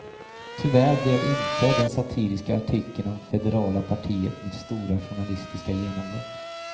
Tyvärr blev inte den satiriska artikeln om federala partiet mitt stora journalistiska genombrott.